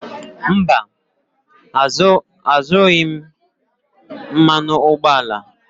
Mba, azụrụghị m mmanụ ụgbọala.